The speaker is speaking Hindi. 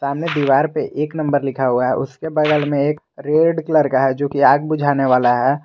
दीवार पे एक नंबर लिखा हुआ है उसके बगल में एक रेड कलर का है जो की आग बुझाने वाला है।